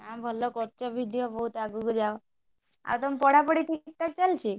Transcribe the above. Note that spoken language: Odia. ଆଁ ଭଲ କରୁଛ video ବହୁତ ଆଗକୁ ଯାଅ ଆଉ ତମ ପଢାପଢି ସବୁ ଠିକଠାକ ଚାଲିଛି?